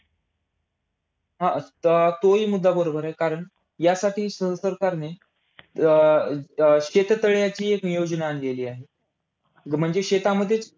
हा, आता तोही मुद्दा बरोबर आहे, कारण यासाठी सहसरकारने अं अं शेततळ्याची एक योजना आणलेली आहे. म्हणजे शेतामध्ये